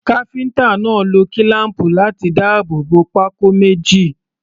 Káfíńtà náà lo kílám̀pù láti dáàbò bo pákó méjì.